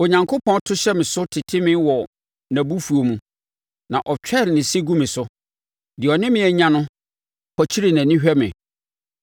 Onyankopɔn to hyɛ me so tete me wɔ nʼabufuo mu na ɔtwɛre ne se gu me so; deɛ ɔne me anya no pɔkyere nʼani hwɛ me.